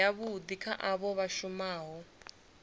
yavhui kha avho vha shumaho